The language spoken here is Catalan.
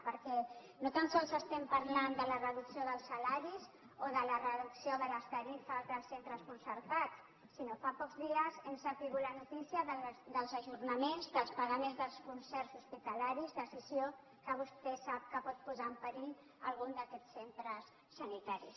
perquè no tan sols estem parlant de la reducció dels salaris o de la reducció de les tarifes dels centres concertats sinó que fa pocs dies hem sabut la notícia dels ajornaments dels pagaments dels concerts hospitalaris decisió que vostè sap que pot posar en perill algun d’aquests centres sanitaris